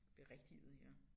Berigtiget ja